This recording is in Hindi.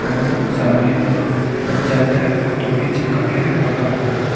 और सामने में बच्चा का एक फोटो भी चिपका के रखा हुआ है।